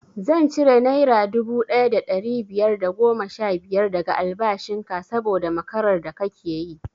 Zan cire naira dubu ɗaya da ɗari biyar da goma sha biyar daga albashin ka saboda makarar da kake yi